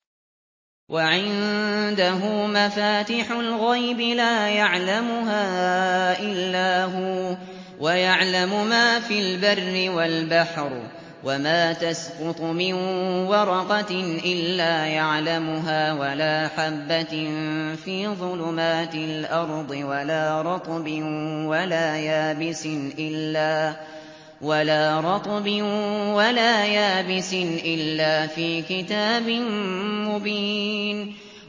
۞ وَعِندَهُ مَفَاتِحُ الْغَيْبِ لَا يَعْلَمُهَا إِلَّا هُوَ ۚ وَيَعْلَمُ مَا فِي الْبَرِّ وَالْبَحْرِ ۚ وَمَا تَسْقُطُ مِن وَرَقَةٍ إِلَّا يَعْلَمُهَا وَلَا حَبَّةٍ فِي ظُلُمَاتِ الْأَرْضِ وَلَا رَطْبٍ وَلَا يَابِسٍ إِلَّا فِي كِتَابٍ مُّبِينٍ